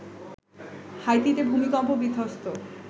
হাইতিতে ভূমিকম্প বিধ্বস্ত